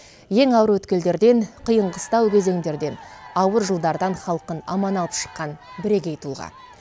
ең ауыр өткелдерден қиын қыстау кезеңдерден ауыр жылдардан халқын аман алып шыққан бірегей тұлға